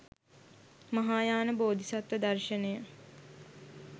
මහායාන බෝධිසත්ව දර්ශනය